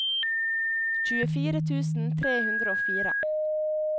tjuefire tusen tre hundre og fire